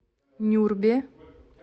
нюрбе